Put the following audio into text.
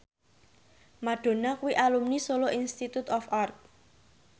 Madonna kuwi alumni Solo Institute of Art